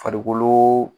Farikoloo